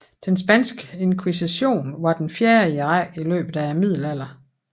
Den spanske inkvisition var den fjerde i rækken i løbet af Middelalderen